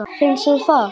Finnst þér það?